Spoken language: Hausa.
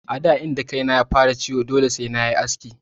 A da inda kaina ya fara ciwo dole sai nayi aski.